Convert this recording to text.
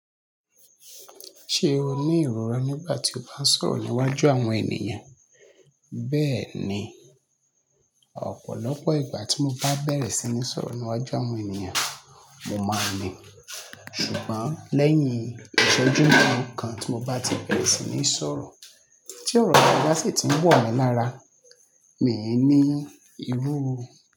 Ṣé o ní ìrora nígbà tí o bá ń sọ̀rọ̀ níwájú àwọn ènìyàn? Bẹ́ẹ̀ni, ọ̀pọ̀lọpọ̀ ìgbà tí mo bá bẹ̀rẹ̀ sí ní sọ̀rọ̀ níwájú àwọn ènìyàn, mo máa ń ní. Ṣùgbọ́n lẹ́yìn ìsejú melokan tí mo bá ti bẹ̀rẹ̀ sí ní sọ̀rọ̀, tí ọ̀rọ̀ bá sì ti ń wọ̀ mí lára, mi i ní ìrú.